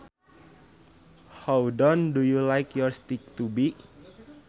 How done do you like your steak to be